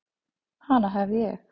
Hana hef ég.